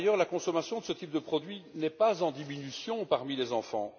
Par ailleurs, la consommation de ce type de produits n'est pas en diminution parmi les enfants.